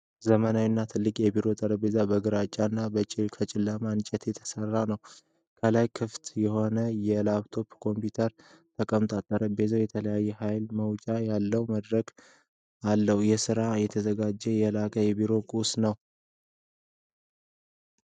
ዘመናዊው ትልቅ የቢሮ ጠረጴዛ ከግራጫ እና ከጨለማ እንጨት የተሰራ ነው። ከላይ ክፍት የሆነ ላፕቶፕ ኮምፒውተር ተቀምጧል። ጠረጴዛው የተለየ የኃይል መውጫ ያለው መድረክ አለው። ለሥራ የተዘጋጀ የላቀ የቢሮ ቁሳቁስ ነው?